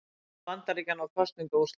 Vantrú Bandaríkjanna á kosningaúrslit